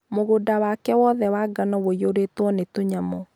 mũgũnda wake wothe wa ngano ũiyũrĩtwo nĩ tũnyamũ